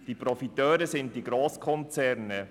Die Profiteure sind die Grosskonzerne.